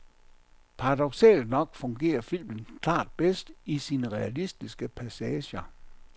Paradoksalt nok fungerer filmen klart bedst i sine realistiske passager.